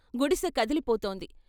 గుడిసె కదిలిపోతోంది.